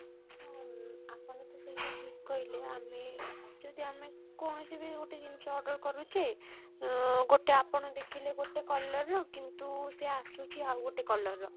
ଅ ଆପଣ ତ ସେଇଟା ଠିକ କହିଲେ ଆମେ ଯଦି ଆମେ କୌଣସି ବି ଗୋଟେ ଜିନିଷ order କରୁଛେ ଉଁ ଗୋଟେ ଆପଣ ଦେଖିଲେ ଗୋଟେ colour ର କିନ୍ତୁ ସେ ଆସୁଛି ଆଉ ଗୋଟେ colour ର